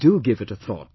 Do give it a thought